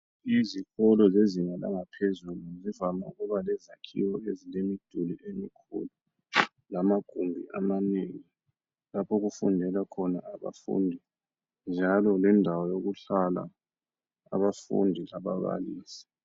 Izikolo zezinga langaphezulu zivame ukuba lezakhiwo ezilemiduli emikhulu lamagumbi amanengi lapho okufundela khona abafundi njalo lendawo yokuhlala abafundi lababalisi.